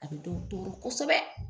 A bɛ dɔw tɔɔrɔ kosɛbɛ.